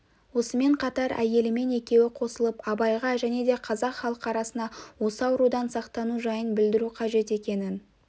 осымен қатар әйелімен екеуі қосылып абайға және де қазақ халқы арасына осы аурудан сақтану жайын білдіру қажет екенін